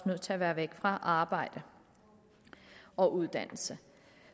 nødt til at være væk fra arbejde og uddannelse